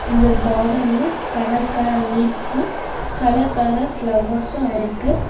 இந்த கார்டன்ல colour colour leaves colour colour flowers இருக்கு.